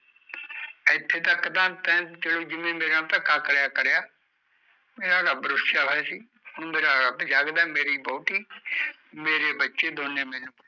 ਇਥੇ ਤਕ ਦਾ ਤੇ ਜਿਵੇ ਮੇਰੇ ਨਾਲ ਧੱਕਾ ਕਰਿਆ ਕਰਿਆ ਮੇਰਾ ਰਬ ਰੁਸਿਆ ਹੋਯਾ ਸੀ ਹੁਣ ਮੇਰਾ ਰੱਬ ਜਾਗਦਾ ਹੈ ਮੇਰੀ ਵੋਹਟੀ ਮੇਰੇ ਬਚੇ ਦੋਨੇ ਮੈਨੂੰ